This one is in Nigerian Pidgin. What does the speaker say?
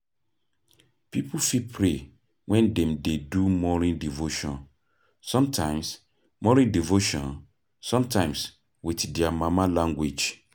Pipo fit pray when dem dey do morning devotion, sometimes morning devotion, sometimes with their mama language